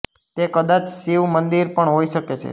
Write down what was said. તે કદાચ શિવ મંદિર પણ હોઇ શકે છે